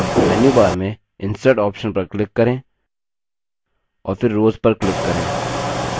अब मेन्यूबार में insert option पर click करें और फिर rows पर click करें